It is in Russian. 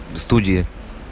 студия